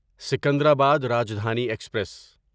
Secunderabad Rajdhani express